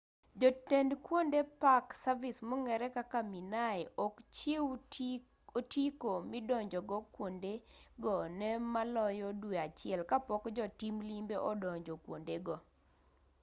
jotend kuonde park service minae ok chiw otiko midonjogo kuondego ne maloyo dwe achiel kapok jotim limbe odonjo kuondego